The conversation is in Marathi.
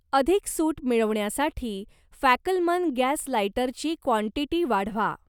अधिक सूट मिळवण्यासाठी फॅकलमन गॅस लाइटरची क्वांटीटी वाढवा.